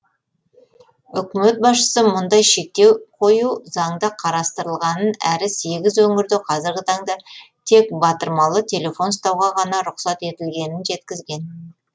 үкімет басшысы мұндай шектеу қою заңда қарастырылғанын әрі сегіз өңірде қазіргі таңда тек батырмалы телефон ұстауға ғана рұқсат етілгенін жеткізген